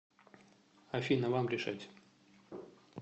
афина вам решать